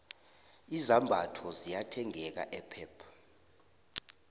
izambatho ziyathengeka epep